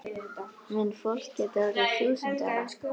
Mun fólk geta orðið þúsund ára?